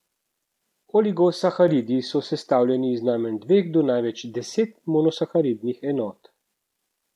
Oligosaharidi so sestavljeni iz najmanj dveh do največ desetih monosaharidnih enot.